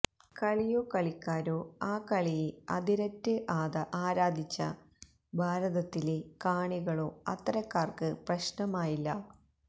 കളിയോ കളിക്കാരോ ആ കളിയെ അതിരറ്റ് ആരാധിച്ച ഭാരതത്തിലെ കാണികളോ അത്തരക്കാര്ക്ക് പ്രശ്നമായില്ല